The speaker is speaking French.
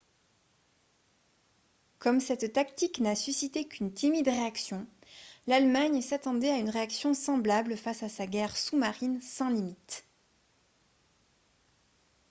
comme cette tactique n'a suscité qu'une timide réaction l'allemagne s'attendait à une réaction semblable face à sa guerre sous-marine sans limites